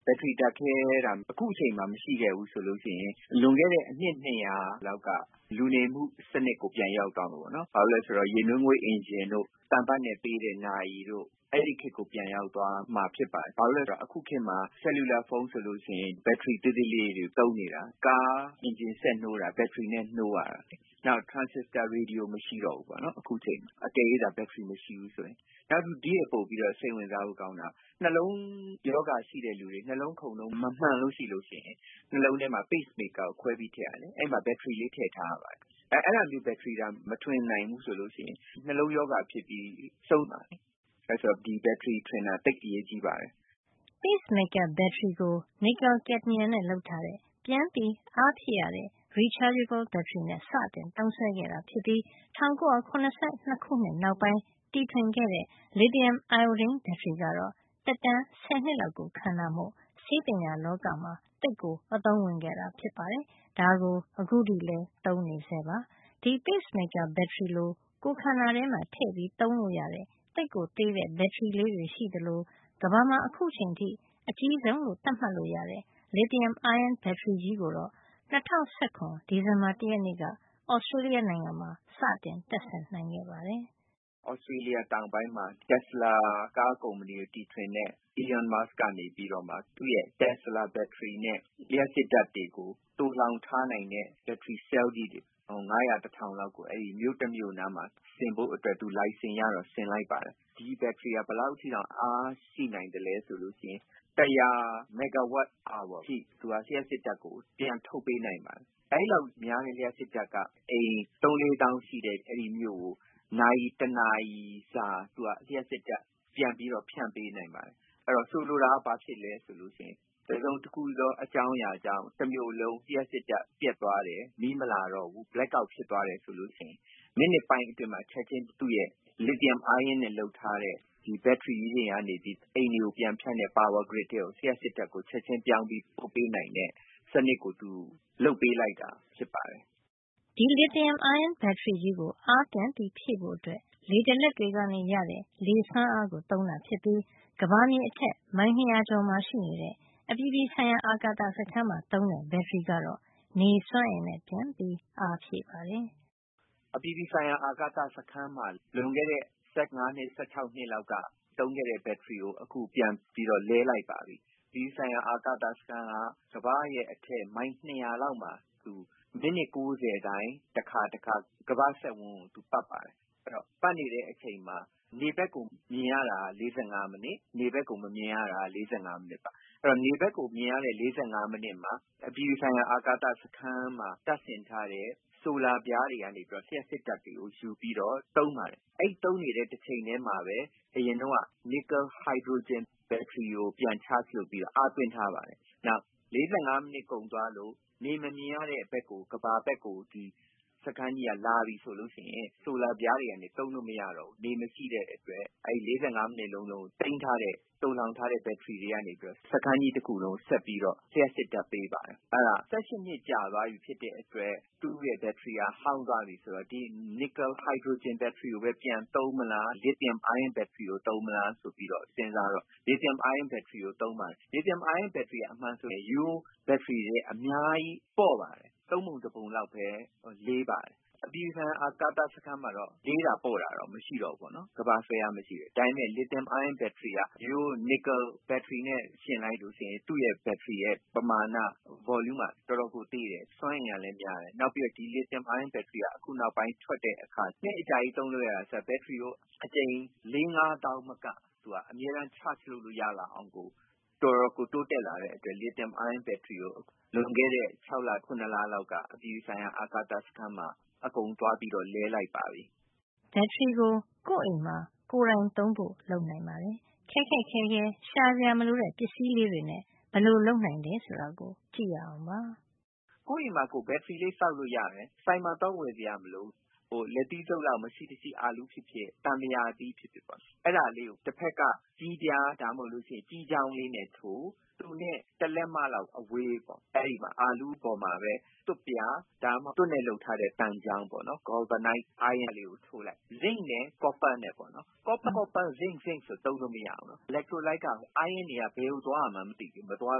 “ဘက်ထရီ ဓါတ်ခဲသာ အခုအချိန်မှာ မရှိခဲ့ဘူး ဆိုရင် လွန်ခဲ့တဲ့ အနှစ် ၂၀၀ လောက်က လူနေမှု စံနစ်ကို ပြန်ရောက်သွားမှာပါ။ အဲဒါ ဘာလဲ ဆိုတော့ ရေနွေးငွေ့ အင်ဂျင်တို့ သံပတ်နဲ့ပေးတဲ့ နာရီတို့ အဲဒီခေတ်ကို ပြန်ရောက်သွားမှာ ဖြစ်ပါတယ်။ အခုခေတ်မှာတော့ လက်ကိုင်ဖုံး- ဆယ်လူလာဖုံး ဆိုရင် ဘက်ထရီ သေးသေးလေးတွေကို သုံးနေရတာပါ။ နောက် ကားအင်ဂျင်စက်နှိုးရတာ ဆိုရင်လည်း ဘက်ထရီနဲ့ နှိုးရတာပါ။ အကယ်လို့သာ အခုချိန်မှာ ဘက်ထရီမရှိဘူးတိုရင် ထရန်စစ္စတာ ရေဒီယို ဆိုတာမရှိ ပဲ ဖြစ်နေမှာပါ။ နောက် ပိုပြီး စိတ်ဝင်စားဖို့ ကောင်းတာက နှလုံးရောဂါ ရှိတဲ့ သူတွေ နှလုံးခုန်နှုန်း မမှန်ဘူးဆိုရင် နှလုံးပုံမှန် ခုန်နိုင်အောင် လျှပ်စစ် ဓါတ်ထုတ်ပေးတဲ့ Pacemaker စက်ကလေးကို နှလုံးထဲမှာ ခွဲပြီး ထည့်ပေးရပါတယ်။ အဲဒီမှာ ဘက်ထရီလေး ထည့်ထားရပါတယ်။ ဒါကြောင့် အဲဒီလို ဘက်ထရီသာ မထွင်နိုင်ဘူးဆိုရင် နှလုံးရောဂါနဲ့ ဆုံးမှာလေ။ အဲတော့ ဒီဘက်ထရီ ထွင်တာ သိပ်ကို အရေးကြီးပါတယ်။” Pacemaker ဘက်ထရီကို nickel-cadmium နဲ့ လုပ်ထားတဲ့ ပြန်ပြီးအားဖြည့်ရတဲ့ rechargeable ဘက်ထရီ နဲ့ စသုံးခဲ့တာ ဖြစ်ပြီး ၁၉၇၂ ခုနှစ်နောက်ပိုင်း တီထွင်ခဲ့တဲ့ လစ်သီယမ် အိုင်အိုဒင်း ဘက်ထရီကတော့ သက်တမ်း ဆယ်နှစ်လောက် ခံတာမို့ ဆေးပညာ လောကမှာ သိပ်ကို အသုံးဝင်ခဲ့တာ ဖြစ်ပါတယ်။ ဒါကို အခုထိလည်း သုံးနေဆဲပါ။ ဒီ pacemaker ဘက်ထရီလို ကိုယ်ခန္ဓာထဲမှာ ထည့်ပြီး သုံးလို့ရတဲ့ သိပ်သေးတဲ့ ဘက်ထရီလေးတွေ ရှိသလို ကမ္ဘာမှာ အခုအချိန်ထိ အကြီးဆုံးလို့ သတ်မှတ်လို့ ရတဲ့ လစ်သီယမ် အိုင်းယွန်း ဘက်ထရီကြီးကိုတော့ ၂၀၁၇ ဒီဇင်ဘာ ၁ရက် နေ့က Australia နိုင်ငံမှာ စတင် တပ်ဆင်နိုင်ခဲ့ပါတယ်။ “Australia တောင်ပိုင်းမှာ Tesla ကားကုမ္ပဏီကို တီထွင်တဲ့ Elon Musk က သူ့ရဲ့ Tesla ဘက်ထရီနဲ့ လျှပ်စစ်ဓါတ်တွေကို သိုလှောင်ထားနိုင်တဲ့ ဘက်ထရီ ဆဲလ်လေးတွေ ငါးရာ တထောင်လောက်ကို မြို့တမြို့နားမှာ ဆင်ဖို့အတွက် သူလိုင်စင်ရတော့ ဆင်လိုက်ပါတယ်။ ဒီဘက်ထရီဟာ အား ဘယ်လောက်အထိ ရှိနိုင်သလဲ ဆိုတော့ လျှပ်စစ်ဓါတ်အား မီဂါဝပ် တရာ လောက်ကို ထုတ်ပေးနိုင်ပါတယ်။ အဲဒီလောက် များတဲ့ လျှပ်စစ်ဓါတ်က အိမ် ၃ -၄ သောင်း ရှိတဲ့ မြို့ကို နာရီ တနာရီစာ လျှပ်စစ်ဓါတ် ပြန်ပြီးတော့ ဖြန့်ဖြူး ပေးနိုင်ပါတယ်။ ဆိုလိုတာက တစုံတခုသော အကြောင်းကြောင့် တမြို့လုံး လျှပ်စစ်ဓါတ် ပြတ်သွားတယ်၊ မီးမလာတော့ဘူး blackout ဖြစ်သွားတယ် ဆိုရင် မိနစ်ပိုင်း အတွင်းမှာ သူ့ရဲ့ လစ်သီယမ် အိုင်းယွန်းနဲ့ လုပ်ထားတဲ့ ဘက်ထရီ ကြီးတွေက အိမ်တွေကို ပြန်ဖြန့်တဲ့ ပါဝါ grid ထဲကို လျှပ်စစ်ဓါတ်ကို ရအောင် ချက်ချင်း ပြောင်းပြီး ပို့ပေးနိုင်တဲ့ စံနစ်ကို သူလုပ်ပေးလိုက်တာ ဖြစ်ပါတယ်။” ဒီ လစ်သီယမ် အိုင်းယွန်း ဘက်ထရီကြီးကို အားပြန်ဖြည့်ဖို့ လေဒလက် တွေကနေရတဲ့ လေစွမ်းအား ကို သုံးတာ ဖြစ်ပြီး ကမ္ဘာမြေအထက် မိုင်နှစ်ရာကျော်မှာ ရှိနေတဲ့ အပြည်ပြည်ဆိုင်ရာ အာကာသ စခန်း မှာသုံးတဲ့ ဘက်ထရီကိုတော့ နေစွမ်းအင်နဲ့ ပြန်ပြီး အားဖြည့်ပါတယ်။ “အပြည်ပြည်ဆိုင်ရာ အာကာသ စခန်းမှာ လွန်ခဲ့တဲ့ ၁၅ နှစ် ၁၆ နှစ်လောက်က သုံးခဲ့တဲ့ ဘက်ထရီကို အခုပြန် လဲလိုက်ပါပြီ။ ဒီစခန်းဟာ ကမ္ဘာ့ အထက် မိုင် ၂၀၀ လောက်မှာ မိနစ် ၉၀ တိုင်း တခါ တခါ ကမ္ဘာ့စက်ဝန်းကို ပတ်ပါတယ်။ အဲဒီလို ပတ်နေတဲ့ အချိန်မှာ နေဘက်ကို မြင်ရတာက ၄၅ မိနစ်၊ နေဘက်ကို မမြင်ရတာက ၄၅ မိနစ်ပါ။ အဲဒီတော့ နေဘက်ကိုမြင်ရတဲ့ ၄၅ မိနစ်မှာ အပြည်ပြည် ဆိုင်ရာ အာကာသ စခန်းမှာ တပ်ဆင်ထားတဲ့ ဆိုလာပြား တွေကနေ လျှပ်စစ်ဓါတ်ကို ယူပြီး သုံးပါတယ်။ အဲဒီလို သုံးနေတာနဲ့ တချိန်ထဲမှာပဲ နစ်ကယ် ဟိုက်ဒရိုဂျင် ဘက်ထရီကို ပြန် charge လုပ်ပြီး အားသွင်းထားပါတယ်။“ “နောက် ၄၅ မိနစ်ကုန်သွားလို့ နေမမြင်ရတဲ့ ဘက်၊ ကမ္ဘာဘက်ကို စခန်းက ရောက်သွားပြီ ဆိုရင် ဆိုလာပြားတွေက သုံးလို့ မရတော့ဘူး။ နေမရှိတဲ့ အတွက်။ အဲဒီ ၄၅ မိနစ် လုံးလုံး သိမ်းထားတဲ့ သိုလှောင်ထားတဲ့ ဘက်ထရီ တွေကနေပြီးတော့ စခန်းကြီး တခုလုံးကို ဆက်ပြီးတော့ လျှပ်စ် ဓါတ်ပေး ပါတယ်။ အဲဒါ ၁၈ နှစ် ကြာသွားပြီ ဖြစ်တဲ့အတွက် သူ့ရဲ့ ဘက်ထရီက ဟောင်းသွားပြီ ဖြစ်တဲ့အတွက် နီကယ် ဟိုက်ဒရိုဂျင် ဘက်ထရီကိုပဲ ပြန်သုံးမလား၊ လစ်သီယမ် အိုင်းယွန်း ဘက်ထရီကို သုံးမလား ဆိုပြီး စဉ်းစားတော့ လစ်သီယမ် အိုင်းယွန်း ဘက်ထရီကို သုံးပါတယ်။” “လစ်သီယမ် အိုင်းယွန်း ဘက်ထရီက ရိုးရိုး ဘက်ထရီထက် အများကြီး ပေါ့ပါတယ်။ ၃ ပုံတပုံလော်ပဲ လေးပါတယ်။ အပြည်ပြည် ဆိုင်ရာ အာကာသ စခန်းမှာတော့ လေးတာ ပေါ့တာတော့ မရှိပါဘူး။ ကမ္ဘာ့ဆွဲအား မရှိလို့။ ဒါပေမယ့် လစ်သီယမ် အိုင်းယွန်း ဘက်ထရီက ရိုးရိုး နစ်ကယ် ဘက်ထရီနဲ့ ယှဉ် လိုက်လို့ ရှိရင် သူ့ ဘက်ထရီရဲ့ ပမာဏ volume က တော်တော်ကို သေးတယ်။ စွမ်းအင်ကလည်း များတယ်။ နောက် လစ်သီယမ် အိုင်းယွန်း ဘက်ထရီက နောက်ပိုင်း ထွက်တဲ့အခါ သိပ်အကြာကြီး သုံးလို့ ရတာ ဆိုတော့ ဘက်ထရီကို အကြိမ် လေးငါးသောင်း မက သူက charge လုပ်လို့ ရလာတာမို့ တော်တော်ကို တိုးတက်လာတဲ့ အတွက် လစ်သီယမ် အိုင်းယွန်း ဘက်ထရီကို လွန်ခဲ့တဲ့ ၆ လ ၇ လလောက်က အပြည်ပြည်ဆိုင်ရာ အာကာသ စခန်းမှာ အကုန်ပြန်ပြီး လဲလိုက်ပါပြီ။” ဘက်ထရီကို ကိုယ့်အိမ်မှာ ကိုယ်တိုင်သုံးဖို့ လုပ်နိုင်ပါတယ်။ ခက်ခက်ခဲခဲ ရှာစရာ မလိုတဲ့ပစ္စည်းတွေနဲ့ ဘယ်လိုလုပ်နိုင်တယ် ဆိုတာကြည့်ရအောင်ပါ။ “ကိုယ့်အိမ်မှာ ကိုယ် ဘက်ထရီ ဆောက်လို့ ရတယ်။ ဆိုင်မှာ သွားဝယ်စရာ မလိုဘူး။ လက်သီးဆုပ် လောက် ရှိတဲ့ အာလူးဖြစ်ဖြစ် သံပုရာသီး ဖြစ်ဖြစ်။ အဲဒါကို တဖက်က ကြေးပြား ဒါမှမဟုတ် ကြေးချောင်း လေးနဲ့ ထိုးလိုက်ပြီး တဖက်က သူနဲ့ တလက်မလောက် အကွာ အဲဒီ အာလူးပေါ်မှာပဲ သွပ်ပြား ဒါမှမဟုတ် သွပ်နဲ့ လုပ်ထားတဲ့ သံချောင်း ပေါ့နော်။ Zinc နဲ့ Copper သွပ်နဲ့ ကြေးပေါ့။ သွပ် သွပ်ချင်း ကြေးကြေးချင်း လုပ်လို့ မရဘူး။ လျှက်လိုက်ရည် electrolyte မှာ အိုင်းယွန်း ion တွေက ဘယ်သွားရမှန်း မသိပဲ မသွား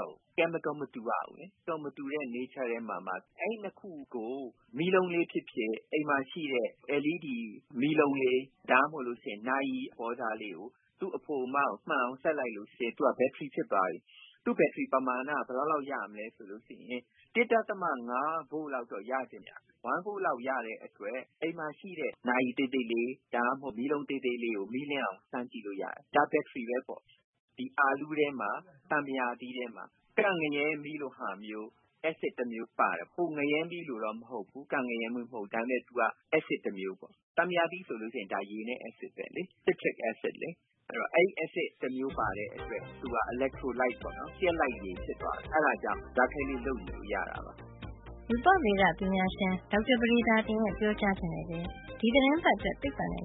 တော့ဘူး။ ဓါတုဓါတ် မတူရဘူး။ ဓါတ်မတူတဲ့ သဘာဝ ထဲမှာမှ။ အဲဒီ ၂ ခုကို မီးလုံးလေး ဖြစ်ဖြစ် အိမ်မှာ ရှိတဲ့ LED မီးလုံးလေး ဒါမှမဟုတ် ဘက်ထရီ အသေးလေးတွေ သုံးတဲ့ နာရီ မှာ သူ့အဖို အမကို မှန်အောင် ဆက်လိုက်ရင် သူက ဘက်ထရီ ဖြစ်သွားပြီ။ သူ့ ဘက်ထရီပမာဏက ဘယ်လောက် ရမလဲ ဆိုတော့ ၁.၅ ဗို့ လောက်တော့ ရနိုင်တယ်။ ၁ volt လောက် ရရင်ကိုပဲ အိမ်မှာ ရှိတဲ့ နာရီ သေးလေးတွေ၊ ဒါမှမဟုတ် မီးလုံး သေးသေးလေးကို မီးလင်းအောင် ဖန်တီးလို့ ရပြီ။ ဒါက ဘက်ထရီ ပဲပေါ့။ ဒီ အာလူးထဲမှာ သံပုရာသီးထဲမှာ ကန့်ငရဲမီးလိုမျိုး အက်ဆစ် တမျိုးပါတယ်။ ကန့်ငရဲ မီးလိုတော့ မဟုတ်ဖူး။ ဒါပေမယ့် သူက အက်ဆစ် တမျိုး။ သံပုရာသီးဆို ဒါ ရေနဲ့ အက်ဆစ်ပဲလေ။ citric acid ပါ။ အဲဒီလို အက်ဆစ် တမျိုး ပါတဲ့အတွက် သူက electrolyte လျှပ်လိုက်ရည် ဖြစ်သွားတယ်။ အဲဒါကြောင့် ဓါတ်ခဲလေး လုပ်ယူလို့ ရတာပါ။” ရူပဒေ ပညာရှင် ဒေါက်တာ ပဒေသာတင် ရဲ့ ပြောကြားချက်နဲ့ပဲ ဒီသီတင်းပတ်အတွက် သိပ္ပံနဲ့